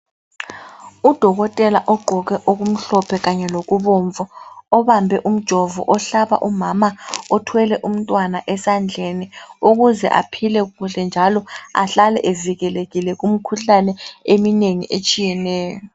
UDokotela ugqoke okumhlophe kanye lokubomvu obambe umjovo ohlaba umama othwele umntwana esandleni ukuze aphile kuhle njalo ahlale evikelekile kumikhuhlane eminengi etshiyeneyo.